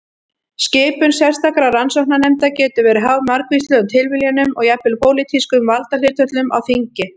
Skipun sérstakra rannsóknarnefnda getur verið háð margvíslegum tilviljunum og jafnvel pólitískum valdahlutföllum á þingi.